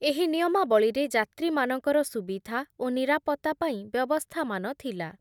ଏହି ନିୟମାବଳୀରେ ଯାତ୍ରୀମାନଙ୍କର ସୁବିଧା ଓ ନିରାପତ୍ତା ପାଇଁ ବ୍ୟବସ୍ଥାମାନ ଥିଲା ।